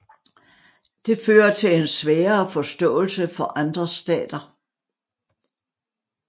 Det fører til en sværere forståelse for andre stater